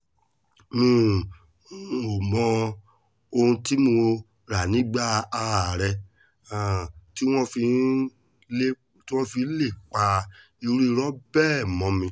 mi um ò mọ ohun tí mo rà nígbà ààrẹ um tí wọ́n fi lè pa irú irọ́ bẹ́ẹ̀ mọ́ mi